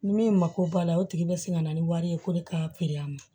Ni min mako b'a la o tigi be sin ka na ni wari ye ko ne k'a a ma